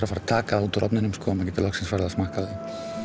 fara að taka það úr ofninum og smakka